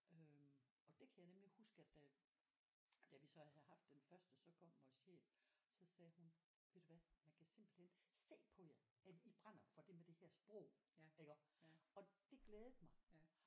Øh og det kan jeg nemlig huske at da da vi så havde haft den første så kom vores chef så sagde hun ved du hvad man kan simpelthen se på jer at I brænder for det med det her med sprog og det glædede mig